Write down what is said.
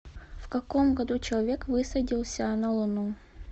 в каком году человек высадился на луну